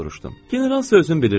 General sözünü bilirsən.